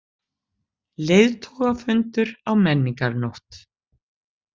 Leiðtogafundur á Menningarnótt